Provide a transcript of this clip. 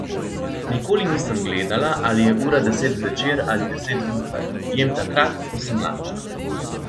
Nikoli nisem gledala, ali je ura deset zvečer ali deset zjutraj, jem takrat, ko sem lačna.